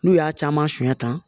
N'u y'a caman sɛn tan